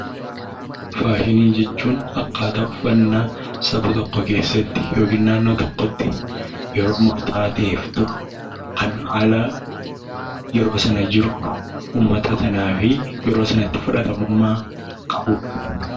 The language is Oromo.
Faashinii jechuun akkaataa uffannaa saba tokko yookiin naannoo tokko keessaa yeroo murtaa'aa ta'eef turuu fi yeroo sunitti fudhatama qabudha.